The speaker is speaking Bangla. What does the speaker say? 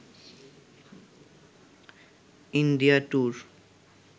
India tour